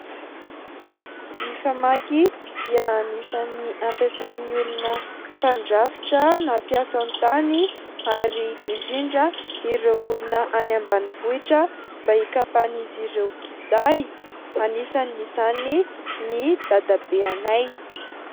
Ny famaky dia anisan'ny ampasain'ny olona mpandrafitra na mpiasa tany ary indrindra ireo olona any ambanivohitra mba hikapan'izy ireo kitay. Anisan'izany ny dadabeanay.